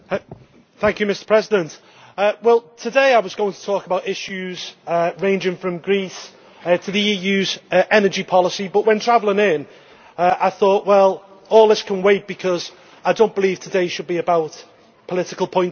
Mr President, today I was going to talk about issues ranging from Greece to the EU's energy policy, but when travelling in I thought all this can wait because I do not believe today should be about political point scoring.